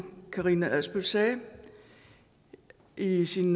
karina adsbøl sagde i sin